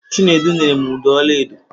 Chinedu nyere m ụdọ ọla edo.